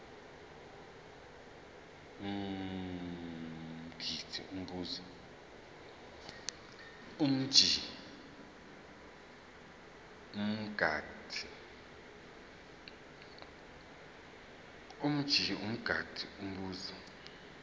mj mngadi umbuzo